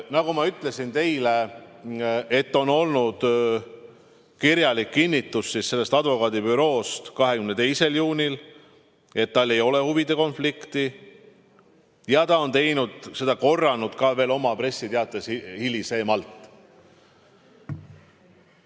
Nagu ma ütlesin teile, on olemas selle advokaadibüroo kirjalik kinnitus 22. juunist, et tal ei ole huvide konflikti, ja ta on seda ka veel oma pressiteates hiljem kinnitanud.